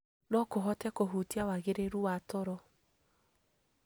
No kũhote kũhutia wagĩrĩru wa toro.